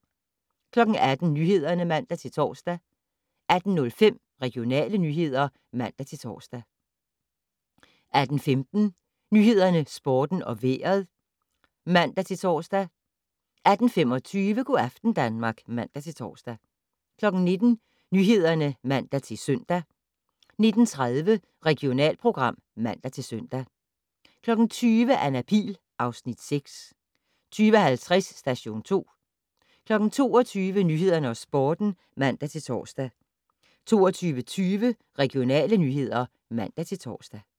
18:00: Nyhederne (man-tor) 18:05: Regionale nyheder (man-tor) 18:15: Nyhederne, Sporten og Vejret (man-tor) 18:25: Go' aften Danmark (man-tor) 19:00: Nyhederne (man-søn) 19:30: Regionalprogram (man-søn) 20:00: Anna Pihl (Afs. 6) 20:50: Station 2 22:00: Nyhederne og Sporten (man-tor) 22:20: Regionale nyheder (man-tor)